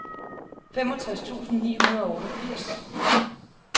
femogtres tusind ni hundrede og otteogfirs